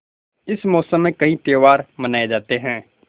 इस मौसम में कई त्यौहार मनाये जाते हैं